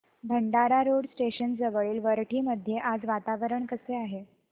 Bhandara road station जवळील वरठी मध्ये आज वातावरण कसे आहे